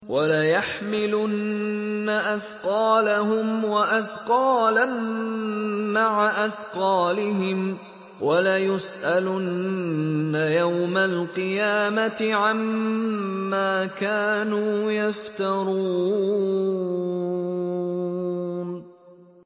وَلَيَحْمِلُنَّ أَثْقَالَهُمْ وَأَثْقَالًا مَّعَ أَثْقَالِهِمْ ۖ وَلَيُسْأَلُنَّ يَوْمَ الْقِيَامَةِ عَمَّا كَانُوا يَفْتَرُونَ